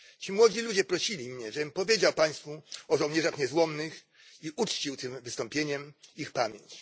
Ci młodzi ludzie prosili mnie, żebym powiedział Państwu o żołnierzach niezłomnych i uczcił tym wystąpieniem ich pamięć.